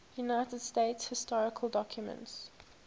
united states historical documents